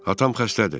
Atam xəstədir.